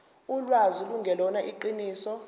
ulwazi lungelona iqiniso